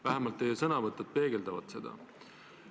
Vähemalt teie sõnavõtud peegeldavad seda.